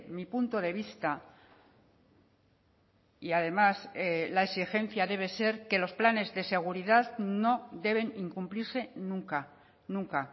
mi punto de vista y además la exigencia debe ser que los planes de seguridad no deben incumplirse nunca nunca